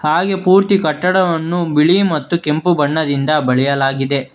ಹಾಗೆ ಪೂರ್ತಿ ಕಟ್ಟಡವನ್ನು ಬಿಳಿ ಮತ್ತು ಕೆಂಪು ಬಣ್ಣದಿಂದ ಬಳಿಯಲಾಗಿದೆ.